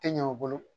Tɛ ɲɛ u bolo